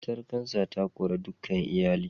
Cutar kansa ta kori dukan iyali